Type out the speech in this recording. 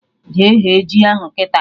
Jee ghe ji ahụ kịta!